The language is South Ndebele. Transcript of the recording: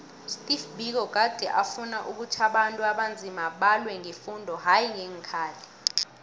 usteve biko gade afuna ukhuthi abantu abanzima balwe ngefundo hayi ngeenkhali